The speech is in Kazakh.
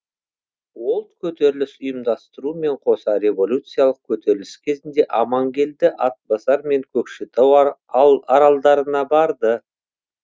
ол көтеріліс ұйымдастырумен қоса революциялық көтеріліс кезінде амангелді атбасар мен көкшетау аралдарына барды